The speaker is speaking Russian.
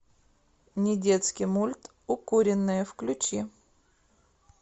недетский мульт укуренные включи